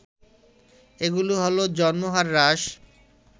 এগুলো হল জন্মহার হ্রাস